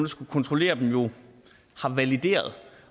skulle kontrollere dem jo har valideret